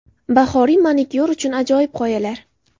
Bahoriy manikyur uchun ajoyib g‘oyalar .